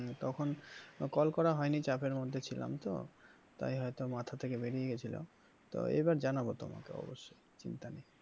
তখন call করা হয়নি চাপের মধ্যে ছিলাম তো তাই হয়তো মাথা থেকে বেরিয়ে গেছিল তো এবার জানাবো তোমাকে অবশ্যই চিন্তা নেই।